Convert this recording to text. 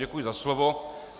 Děkuji za slovo.